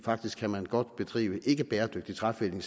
faktisk kan man godt bedrive ikkebæredygtig træfældning